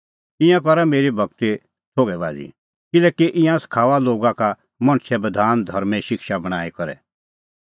ईंयां करा मेरी भगती थोघै बाझ़ी किल्हैकि ईंयां सखाऊआ लोगा का मणछे बधान धर्में शिक्षा बणांईं करै